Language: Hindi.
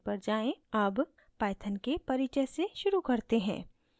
अब python के परिचय से शुरू करते हैं